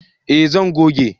eh zan goge shi